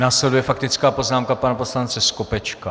Následuje faktická poznámka pana poslance Skopečka.